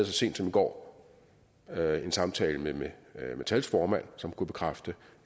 så sent som i går havde jeg en samtale med med metals formand som kunne bekræfte